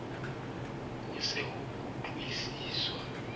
ha ho se ho kgutliswa